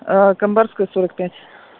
камбарская сорок пять